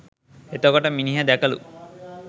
එතකොට මිනිහ දැකලු